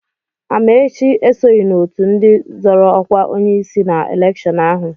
Amaechi esoghị n'ọtụ ndị zọ́rọ́ ọ́kwá onyeisi na elekshọn ahụ.